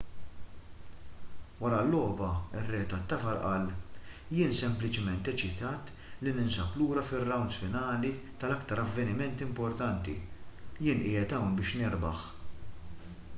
wara l-logħba ir-re tat-tafal qal jien sempliċiment eċitat li ninsab lura fir-rawnds finali tal-aktar avvenimenti importanti jien qiegħed hawn biex nirbaħ